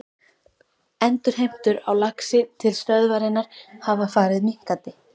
Endurheimtur á laxi til stöðvarinnar hafa farið minnkandi.